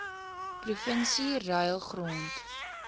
provinsie ruil grond